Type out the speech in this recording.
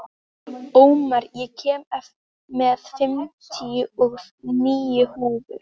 Ómar, ég kom með fimmtíu og níu húfur!